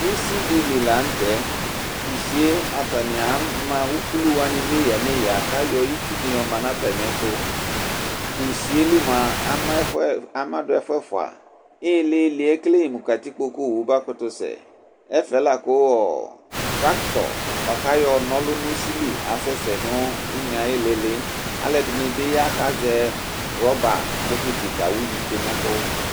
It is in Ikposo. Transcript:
Ʋsɩ dɩlɩ lanʋtɛ tʋ ʋsɩe atanɩ ma ʋkʋlʋ wa neya neya kayɔ ɩtsʋnɩ yɔma natɛmɩɛtʋ tʋ ʋsɩe lɩ mʋa amadʋ ɛfʋɛfʋa ɩlɩlɩɛ ekale mʋ katɩkpo ƙʋ owʋ makʋtʋ sɛ ɛfɛ la kʋ tractɔ bʋakʋ ayɔ nɔ ɔlʋ nʋ ʋsɩ lɩ asɛsɛ nʋ ʋne ayɩlɩlɩ alɛdɩ bɩ ya akazɛ rɔba bokɩtɩ kawʋvɩ tsoe nɛkʋ